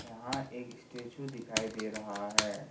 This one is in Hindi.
यहां एक स्टैचू दिखाई दे रहा है।